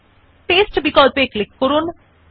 paste option এ click করুন